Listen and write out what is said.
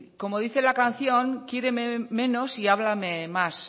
como dice la canción quiéreme menos y háblame más